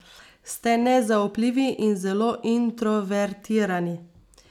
Ste nezaupljivi in zelo introvertirani.